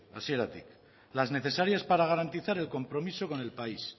hasieratik las necesarias para garantizar el compromiso con el país